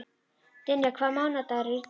Dynja, hvaða mánaðardagur er í dag?